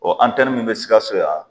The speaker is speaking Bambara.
Ɔ antɛni min be sikaso yan